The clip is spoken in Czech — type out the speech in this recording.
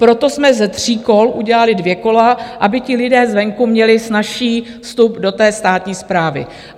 Proto jsme ze tří kol udělali dvě kola, aby ti lidé zvenku měli snazší vstup do té státní správy.